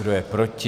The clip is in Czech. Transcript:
Kdo je proti?